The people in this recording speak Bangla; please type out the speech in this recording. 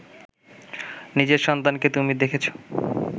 নিজের সন্তানকে তুমি দেখেছ